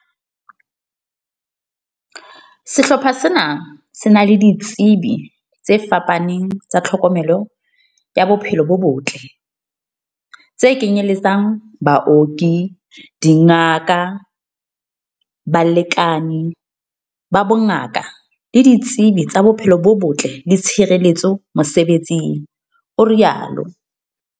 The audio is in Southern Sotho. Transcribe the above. "Sehlopha sena se na le di tsebi tse fapaneng tsa tlhokomelo ya bophelo bo botle, tse kenye letsang, baoki, dingaka, balekani ba bongaka le ditsebi tsa bophelo bo botle le tshireletso mosebe tsing," o rialo.